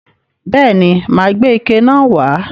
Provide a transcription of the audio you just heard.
Bẹ́ẹ̀ ni, mà á gbé ike náà wà á.